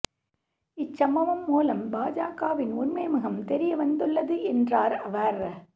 இச்சம்பவம் மூலம் பாஜகவின் உண்மை முகம் தெரியவந்துள்ளது என்றாா் அவா்